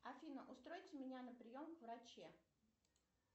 афина устройте меня на прием к враче